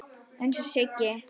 Eins og Siggi.